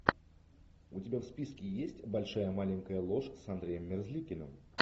у тебя в списке есть большая маленькая ложь с андреем мерзликиным